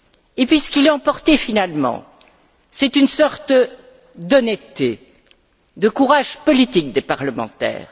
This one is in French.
Et puis ce qui l'a emporté finalement, c'est une sorte d'honnêteté, de courage politique des parlementaires.